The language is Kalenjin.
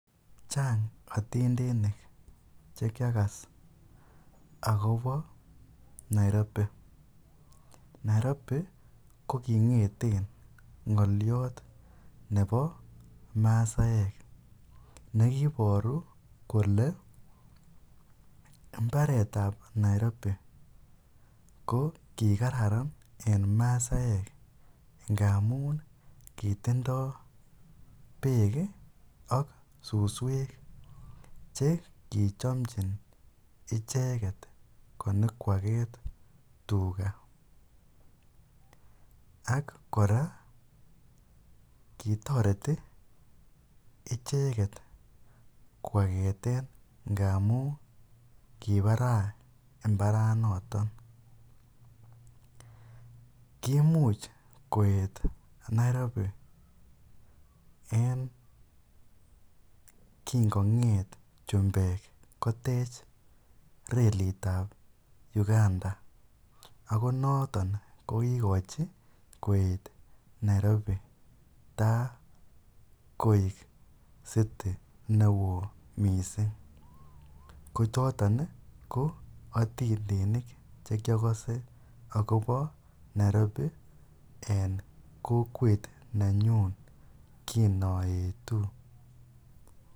chang otindonik chekyagas agobo Nairobi, Nairobi ko kingeten ngolyoot nebo masaek negiboru kole imbareet ab Nairobi ko kigararan en masaek ngamuun kitindoo beek iih ak susweek chegichome icheget konyokwageet tuga ak koraa kitoreti ichegetkwageteen ngamuun kibaraa imbaranoton, kimuch koet Nairobi en kingongeet chumbeek kotech reliit ab uganga ago noton ko kigochi koet Nairobi taa koek city neoo mising kochoton iih ko otindonik che kyogose agobo nairobi en kokwet nenyuun kinoetuu.